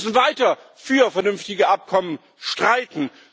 Wir müssen weiter für vernünftige Abkommen streiten.